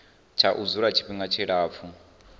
tsha u dzula tshifhinga tshilapfu